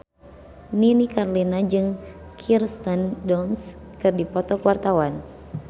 Nini Carlina jeung Kirsten Dunst keur dipoto ku wartawan